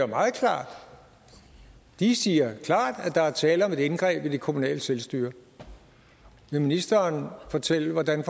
meget klart de siger klart at der er tale om et indgreb i det kommunale selvstyre vil ministeren fortælle hvordan